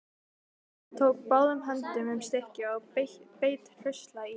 Hann tók báðum höndum um stykkið og beit hraustlega í.